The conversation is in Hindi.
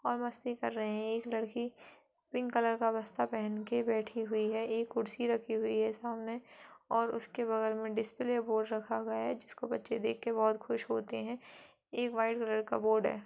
और मस्ती कर रहे हैं और एक लड़की पिंक कलर का बस्ता पहन के बैठी हुई है। एक कुर्सी रखी हुई है सामने और उसके बगल मे डिस्प्ले बोर्ड रखा गया है जिसको बच्चे देख के बहुत खुश होते हैं एक व्हाइट कलर का बोर्ड है।